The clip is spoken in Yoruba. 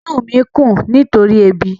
Inú mi ń kùn nítorí ebi.